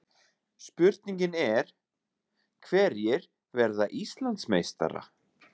Spurningin er: Hverjir verða Íslandsmeistarar?